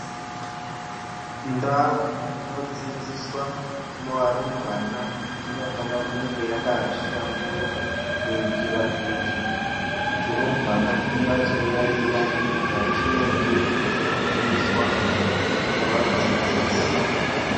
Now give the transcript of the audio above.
Ndau inodzidziswa varumbwana inofana kunge yakahlamburuka kuitira kuti turumbwana twunyatsoyaiya zvatunenge twuchidzidziswa ngevadzidzisi.